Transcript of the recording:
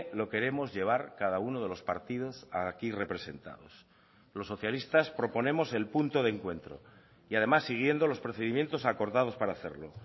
lo queremos llevar cada uno de los partidos aquí representados los socialistas proponemos el punto de encuentro y además siguiendo los procedimientos acordados para hacerlo